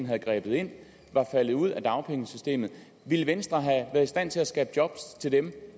havde grebet ind var faldet ud af dagpengesystemet ville venstre have været i stand til at skabe job til dem